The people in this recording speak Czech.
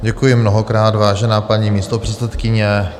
Děkuji mnohokrát, vážená paní místopředsedkyně.